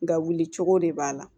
Nka wulicogo de b'a la